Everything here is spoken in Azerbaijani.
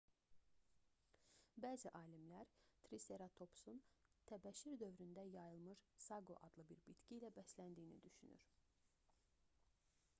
bəzi alimlər triseratopsun təbəşir dövründə yayılmış saqo adlı bir bitki ilə bəsləndiyini düşünür